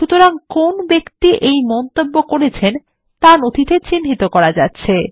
সুতরাং কোন ব্যক্তি এই মন্তব্য করেছেন তা নথিতে চিহ্নিত করা যাচ্ছে